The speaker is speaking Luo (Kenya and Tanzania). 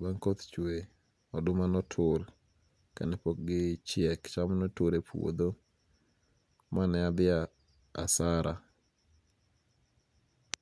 ma koth chwe, oduma notur kane pok gichiek , cham notur e puotho maneathi hasara.